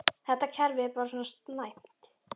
Þetta kerfi er bara svona næmt.